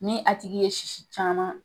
Ni a tigi ye sisi caman